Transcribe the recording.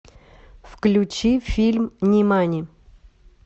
включи фильм нимани